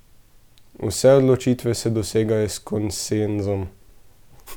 Vse odločitve se dosegajo s konsenzom.